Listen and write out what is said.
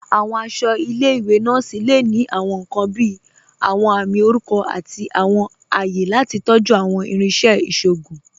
Awọn aṣọ ilẹ̀-iwe nọọsi le ni awọn nkan bíi awọn àmì orúkọ àti awọn àyẹ̀ lati tọ̀jú awọn irinṣẹ̀ iṣọgùn.